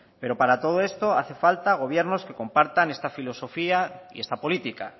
pero para todo esto hacen falta gobiernos que compartan esta filosofía y esta política